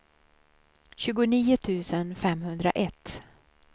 tjugonio tusen femhundraett